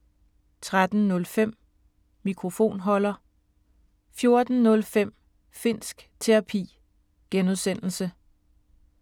13:05: Mikrofonholder 14:05: Finnsk Terapi (G)